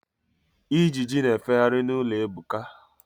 Ijiji na-efegharị n'ụlọ Ebuka.